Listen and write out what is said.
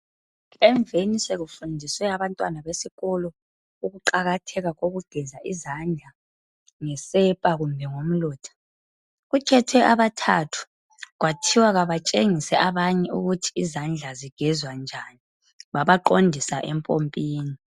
Emveni sekufundiswe abantwana besikolo ukuqakatheka kokugeza izandla ngesepa kumbe ngomlotha, kukhethwe abathathu kwathiwa kabatshengise abanye ukuthi izandla zigezwa njani babaqondisa empompini.